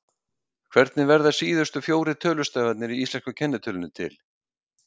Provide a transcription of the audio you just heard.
Hvernig verða síðustu fjórir tölustafirnir í íslensku kennitölunni til?